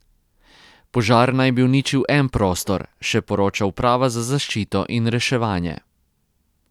Požar naj bi uničil en prostor, še poroča Uprava za zaščito in reševanje.